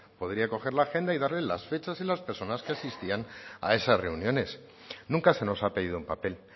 podría coger la agenda y darle las fechas y las personas que asistían a esas reuniones nunca se nos ha pedido un papel